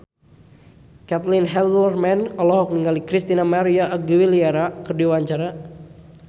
Caitlin Halderman olohok ningali Christina María Aguilera keur diwawancara